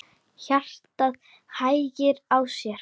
Hjartað hægir á sér.